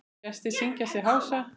Gestir syngja sig hása.